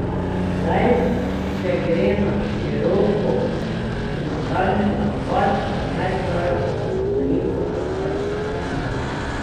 Zdaj se gre na široko, frontalni napad, pa naj traja, koliko bo pač trajalo.